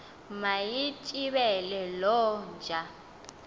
mayitsibele loo nja